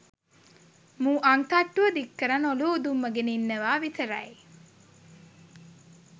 මූ අං තට්ටුව දික්කරන් ඔලුව උදුම්මගෙන ඉන්නවා විතරයි